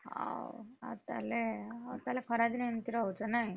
ହଉ ଆଉ ତାହେଲେ ଆଉ ତାହେଲେ ଖରା ଦିନେ ଏମିତି ରହୁଛ ନାଇଁ?